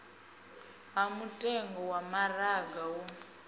ha mutengo wa maraga wo